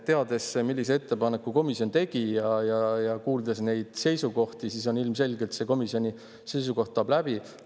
Teades, millise ettepaneku komisjon tegi, ja kuuldes neid seisukohti, siis ilmselgelt see komisjoni seisukoht läheb läbi.